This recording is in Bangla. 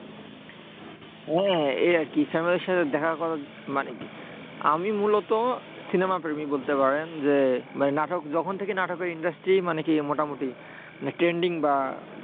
হ্যাঁ, এই আরকি। family র সাথে দেখা করা মানে কি আমি মূলত cinema প্রেমী বলতে পারেন। যে ভাই নাটক যখন থেকে নাটকের industry মানে কি মোটামুটি trending বা,